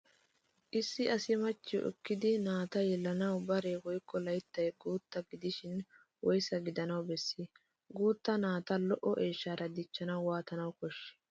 Issi asi machchiyo ekkidi naata yelanawu baree woykko layttay guutta gidishin woysaa gidanawu bessii? Guutta naata lo'o eeshshaara dichchanawu waatanawu koshshii?